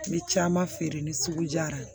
N bɛ caman feere ni sugu jara ye